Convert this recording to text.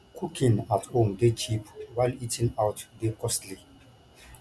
cooking at home de cheap while eating out de costly